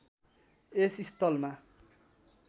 यस स्थलमा